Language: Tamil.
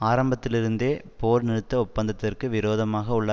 ஆரம்பத்திலிருந்தே போர்நிறுத்த ஒப்பந்தத்திற்கு விரோதமாக உள்ள